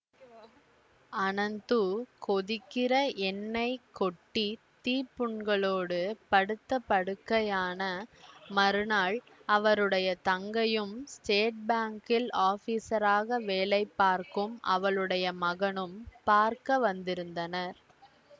அனந்து கொதிக்கிற எண்ணெய் கொட்டி தீப்புண்களோடு படுத்த படுக்கையான மறுநாள் அவருடைய தங்கையும் ஸ்டேட் பாங்கில் ஆபீஸராக வேலை பார்க்கும் அவளுடைய மகனும் பார்க்க வந்திருந்தனர்